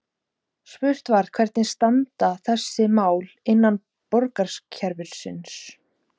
Spurt var: Hvernig standa þessi mál innan borgarkerfisins?